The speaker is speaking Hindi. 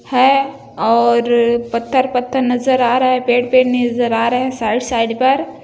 है और पत्थर-पत्थर नज़र आ रहा है पेड़-पेड़ नज़र आ रहा है साइड साइड पर--